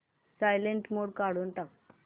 silent mode काढून टाक